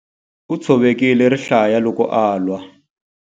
U tshovekile rihlaya loko a lwa.